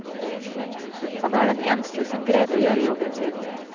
Han er den eneste som greide å gjøre jobben sin.